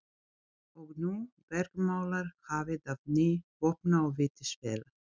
Og nú bergmálar hafið af gný vopna og vítisvéla.